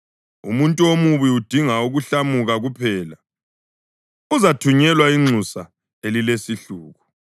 Umuntu omubi udinga ukuhlamuka kuphela; uzathunyelwa inxusa elilesihluku.